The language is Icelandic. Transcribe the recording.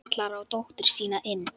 Kallar á dóttur sína inn.